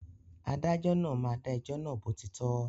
Adájọ́ náà máa dà ẹjọ́ náà bó ti tọ́